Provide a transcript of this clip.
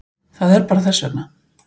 Það er bara þess vegna.